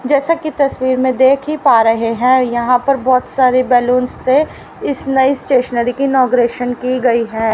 जैसा की तस्वीर में देख ही पा रहे हैं यहां पर बहोत सारी बलूंस से इस नई स्टेशनरी की इनॉग्रेशन की गई है।